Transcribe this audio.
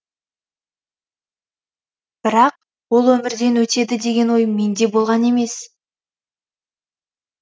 бірақ ол өмірден өтеді деген ой менде болған емес